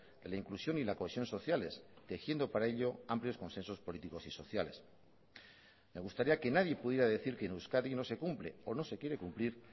de la inclusión y la cohesión sociales tejiendo para ello amplios consensos políticos y sociales me gustaría que nadie pudiera decir que en euskadi no se cumple o no se quiere cumplir